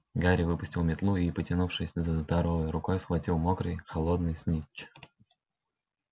гарри выпустил метлу и потянувшись здоровой рукой схватил мокрый холодный снитч